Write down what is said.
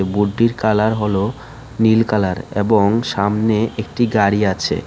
বোর্ডটির colour হলো নীল colour এবং সামনে একটি গাড়ি আছে।